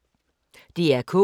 DR K